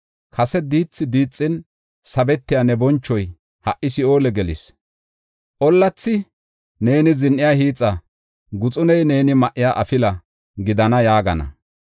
Kase diithi diixin sabetiya ne bonchoy ha77i Si7oole gelis. Ollathi neeni zin7iya hiixa; guxuney neeni ma7iya afila gidana yaagana.